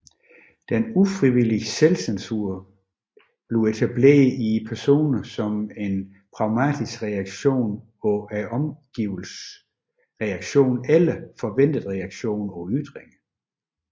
Den ufrivillige selvcensur etableres i personen som en pragmatisk reaktion på omgivelsernes reaktion eller forventede reaktion på ytringer